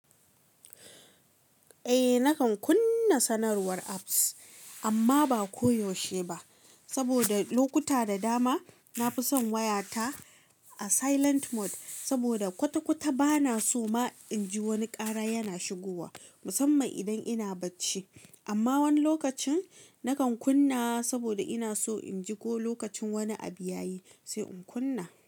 Eh nakan kunna sanarwar apps, amma bah koh yaushe ba saboda lokuta da dama na fi son waya ta a silent mode saboda kwata-kwata ba na so ma in ji wani kara yana shigowa musamman idan ina bacci. Amma wani lokacin nakan kunna saboda ina so in ji ko lokacin wani abu ya yi sai in kunna.